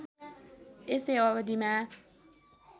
यसै अवधिमा